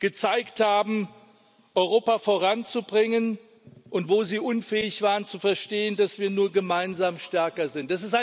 gezeigt haben, Europa voranzubringen, und wo sie unfähig waren, zu verstehen, dass wir nur gemeinsam stärker sind.